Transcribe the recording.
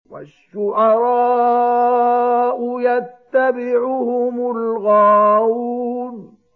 وَالشُّعَرَاءُ يَتَّبِعُهُمُ الْغَاوُونَ